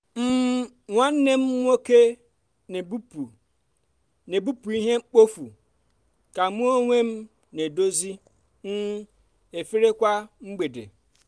um nwanne m nwoke n'ebupụ n'ebupụ ihe mkpofu ka mu onwem n'edozi um efere kwa um mgbede.